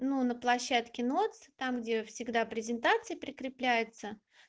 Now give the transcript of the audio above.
ну на площадке носятся там где всегда презентации прикрепляются